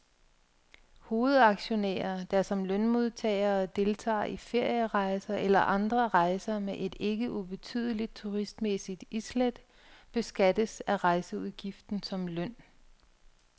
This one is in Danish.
Hovedaktionærer, der som lønmodtagere deltager i ferierejser eller andre rejser med et ikke ubetydeligt turistmæssigt islæt, beskattes af rejseudgiften som løn.